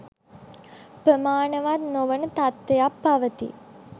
ප්‍රමාණවත් නොවන තත්ත්වයක් පවතී